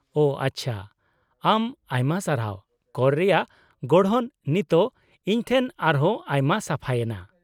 -ᱳ ᱟᱪᱪᱷᱟ ᱾ ᱟᱢ ᱟᱭᱢᱟ ᱥᱟᱨᱦᱟᱣ, ᱠᱚᱨ ᱨᱮᱭᱟᱜ ᱜᱚᱲᱦᱚᱱ ᱱᱤᱛᱚᱜ ᱤᱧᱴᱷᱮᱱ ᱟᱨᱦᱚᱸ ᱟᱭᱢᱟ ᱥᱟᱯᱷᱟᱭᱮᱱᱟ ᱾